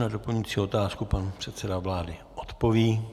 Na doplňující otázku pan předseda vlády odpoví.